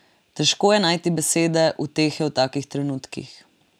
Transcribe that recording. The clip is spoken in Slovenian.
Težko je najti besede utehe v takih trenutkih.